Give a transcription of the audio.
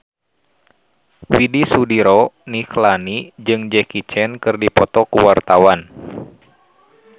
Widy Soediro Nichlany jeung Jackie Chan keur dipoto ku wartawan